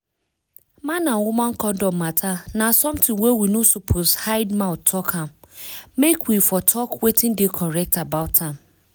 man and woman condom matter na something wey we no suppose hide mouth talk am make we for talk wetin dey correct about am